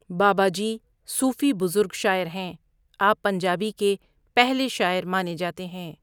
بابا جی صوفی بزرگ شآعر ہیں آپ پنجابی کے پہلے شاعر مانے جاتے ہیں.